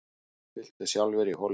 Fylltu sjálfir í holurnar